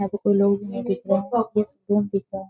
यहाँ पे कोई लोग नहीं दिख रहें हैं बहुत ही सुकून दिख रहा है।